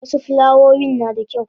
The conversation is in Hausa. wasu fulawoyin nada kyau